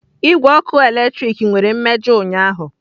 Igwe ọkụ eletrik nwere mmejọ ụnyaahụ.